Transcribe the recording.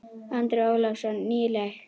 Andri Ólafsson: Nýleg?